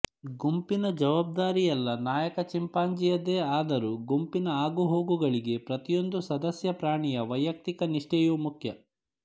ಗುಂಪಿನ ಜವಾಬ್ದಾರಿಯೆಲ್ಲ ನಾಯಕ ಚಿಂಪಾಂಜಿ಼ಯದೇ ಆದರೂ ಗುಂಪಿನ ಆಗುಹೋಗುಗಳಿಗೆ ಪ್ರತಿಯೊಂದು ಸದಸ್ಯಪ್ರಾಣಿಯ ವೈಯಕ್ತಿಕ ನಿಷ್ಠೆಯೂ ಮುಖ್ಯ